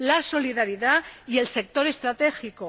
la solidaridad y el sector estratégico.